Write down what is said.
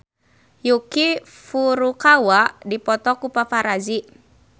Yuki Furukawa dipoto ku paparazi